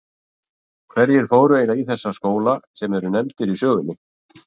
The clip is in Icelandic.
Hverjir fóru eiginlega í þessa skóla sem nefndir eru í sögunni?